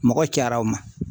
Mɔgɔ cayara o ma